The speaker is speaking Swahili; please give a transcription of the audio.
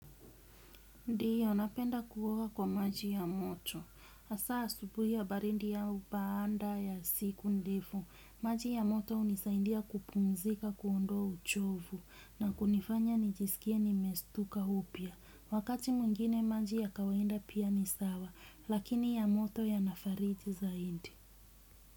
Ndio, napenda kuoga kwa maji ya moto. Asa asubuhi ya baridi au baada ya siku ndefu. Maji ya moto unisaindia kupumzika kuondoa uchovu na kunifanya nijisikie nimestuka upya. Wakati mwingine maji ya kawaida pia ni sawa, lakini ya moto yanafariji zaidi.